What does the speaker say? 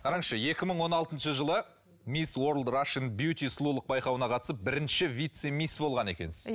қараңызшы екі мың он алтыншы жылы мисс уорлд рашэн бюти сұлулық байқауына қатысып бірінші вице мисс болған екенсіз